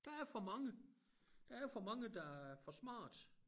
Der er for mange der er for mange der er for smarte